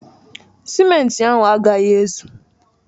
Simenti ahụ agaghị ezu